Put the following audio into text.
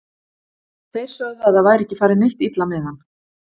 Þeir sögðu að það væri ekki farið neitt illa með hann.